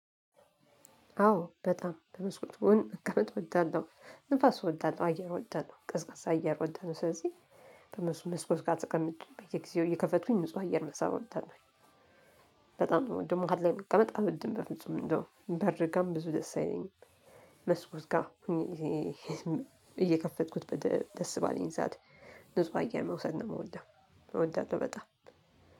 አዎ በጣም በመስኮት ጎን መቀመጥ እወዳለሁ። ንፋስ እወዳለው፤ አየር እወዳለሁ ቀዝቃዛ አየር እወዳለሁ። ስለዚህ በ መስኮት ጋር ተቀምጬ በየጊዜው እየከፈቱኝ ንጹህ አየር መሳብ እወዳለሁኝ። በጣም ነው ምወደው መሃል ላይ መቀመጥ አልወድም በፍጹም እንደው በር ጋርም ብዙ ደስ አይለኝም መስኮት ጋር እየከፈትኩት ደስ ባለኝ ሰዓት ንጹህ አየር መውሰድ ነው ምወደው እወዳለሁ በጣም።